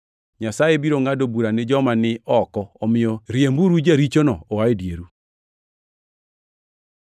Nyasaye biro ngʼado bura ni joma ni oko, omiyo riemburu jarichono oa e dieru. + 5:13 \+xt Rap 17:7; 19:19; 21:21; 22:21,24; 24:7\+xt*